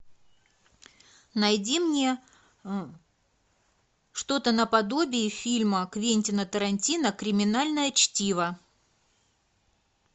найди мне что то наподобие фильма квентина тарантино криминальное чтиво